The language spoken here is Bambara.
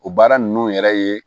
O baara ninnu yɛrɛ ye